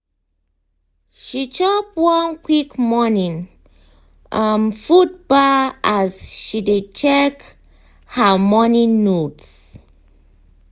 she chop one quick morning um food bar as she dey check um her um morning notes.